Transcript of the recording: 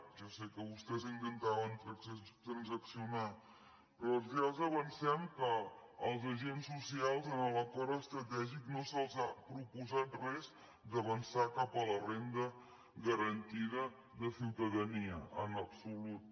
jo sé que vostès intentaven transaccionar però ja els avancem que els agents socials en l’acord estratègic no se’ls ha proposat res d’avançar cap a la renda garantida de ciutadania en absolut